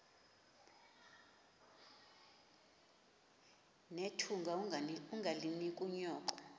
nethunga ungalinik unyoko